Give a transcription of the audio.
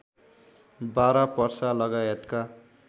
बारा पर्सा लगायतका